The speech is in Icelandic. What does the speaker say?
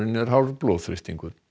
er hár blóðþrýstingur